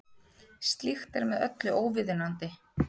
Slíkt er með öllu óviðunandi